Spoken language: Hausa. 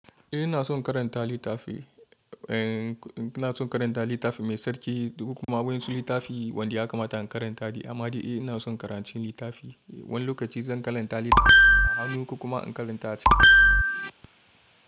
Eh ina son karanta littafi uncle eh ina son karanta littafi mai sarki domin kuma wani sulittafi wanda ya kamata in karanta shi amma dai eh ina son karancin littafi. Wani lokaci zan karanta littafin a hannu kuma in karanta shi.